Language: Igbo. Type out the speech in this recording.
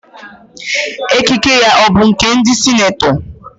Ekike ya ọ bụ nke ndị senetọ?